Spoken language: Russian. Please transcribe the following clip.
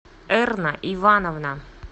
эрна ивановна